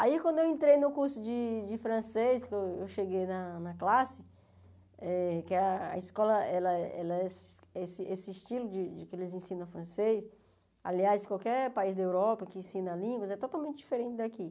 Aí quando eu entrei no curso de de francês, que eu cheguei na na classe, que a escola, ela ela esse estilo de que eles ensinam francês, aliás, qualquer país da Europa que ensina línguas é totalmente diferente daqui.